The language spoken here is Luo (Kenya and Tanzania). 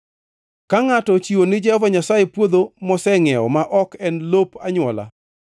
“ ‘Ka ngʼato ochiwo ni Jehova Nyasaye puodho mosengʼiewo, ma ok en lop anywola,